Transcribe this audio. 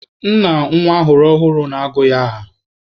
Nna nwa ọhụrụ na-agụ nwa ya aha.